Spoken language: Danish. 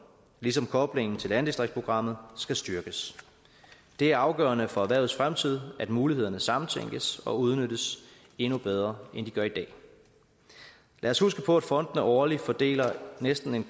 ligesom koblingen til landdistriktsprogrammet skal styrkes det er afgørende for erhvervets fremtid at mulighederne samtænkes og udnyttes endnu bedre end de bliver i dag lad os huske på at fondene årligt fordeler næsten